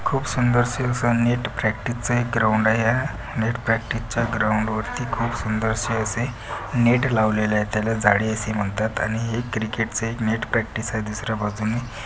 खूप सुंदर असं नेट प्रॅक्टिस चा एक ग्राऊंड आहे हा नेट प्रॅक्टिस चा ग्राऊंड वरती खूप सुंदर से असे नेट लावलेले आहेत. त्याला जाळी असे म्हणतात आणि एक क्रिकेट च एक नेट प्रॅक्टिस आहे. दुसर्‍या बाजूनी--